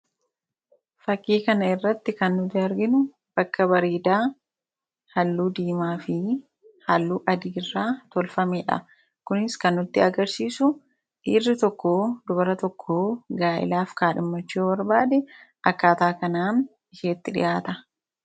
Fakkii kanarratti kan arginu bakka bareedaa halluu diimaa fi halluu adii irraa tolfamedha. Kunis kan nutti agarsiisu, dhiirri tokko dubara tokko gaa'ilaaf kaadhimmachuu yoo barbaade akkaataa kanaan isjeetti dhiyaata.